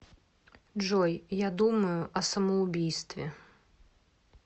джой я думаю о самоубийстве